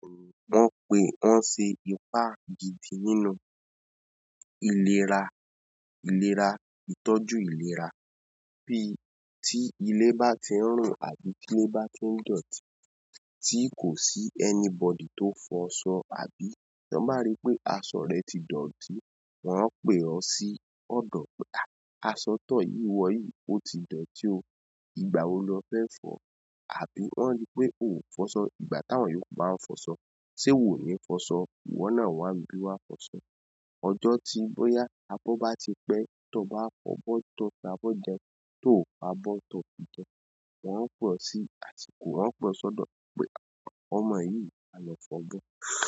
Wọ́n pè wọ́n ń ṣe ipá gidi nínú ìlera ìlera ìtọ́jú ìlera bí tí ilé bá ti ń rùn àbí tilé bá ti ń dọ̀tí tí kò sí anybody tó fọṣọ àbí tọn báa rí pé aṣọ rẹ̀ ti dọ̀tí wọ́n ń pè ọ́ sí ọ̀dọ̀ pé aṣọ tọ̀ yìí wọ yìí ó ti dọ̀tí o ìgbà wo lọ fẹ́ fọ̀? Àbí wọ́n rí pé ò fọṣọ ìgbà táwọn yóò ku bá ń fọṣọ ṣé iwò o ní fọṣọ iwọ́ náà wá n bí wá fọṣọ. Ọjọ́ tí bóyá abọ́ bá ti pẹ́ tọ bá fọ́ bọ́ tọ́ fi abọ́ jẹun tó o fo abọ́ tọ́ kì jẹun. Wọ́n ń pe ọ́ sí àsìkò wọ́n o pe ọ́ sọ́dọ̀ pé ọmọ yìí máa lọ fọ̀bo.